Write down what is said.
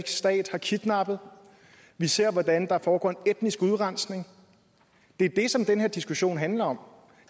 stat har kidnappet vi ser hvordan der foregår en etnisk udrensning det er det som den her diskussion handler om